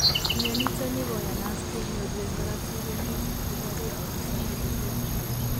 Mianitanikoyanat kenyoru en korotik en kit nekibare autosomal recessive